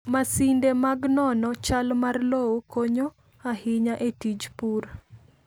Masinde mag nono chal mar lowo konyo ahinya e tij pur.